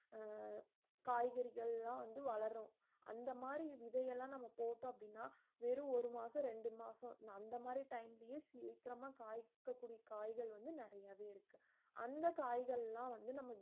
அஹ் காய்கறிகள்லா வந்து வளரும் அந்த மாதிரி விதையெல்லாம் நம்ம போட்டோம் அப்படினா வேறு ஒரு மாசம் ரெண்டு மாசம் அந்த மாரி time லயே சீக்கிரமா காய் கத்திரி காய்கள் வந்து நிறையவே இருக்கு அந்த காய்கல்லாம் வந்து நம்ம